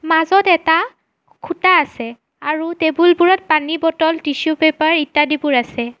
মাজত এটা খুঁটা আছে আৰু টেবুল বোৰত পানী বটল টিছো পেপাৰ ইত্যাদিবোৰ আছে।